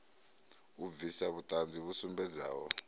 u bvisa vhuṱanzi vhu sumbedzaho